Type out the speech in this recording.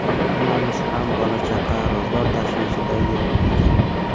Hammamiz ham bola-chaqa, ro‘zg‘or tashvishida yuribmiz.